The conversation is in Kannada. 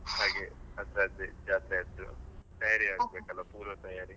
ಹಾಗೆ ಅದ್ರದ್ದೇ ಜಾತ್ರೆದ್ದು ತಯಾರಿಯಾಗ್ಬೇಕಲ್ಲ ಪೂರ್ವ ತಯಾರಿ.